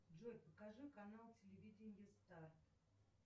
джой покажи канал телевидения старт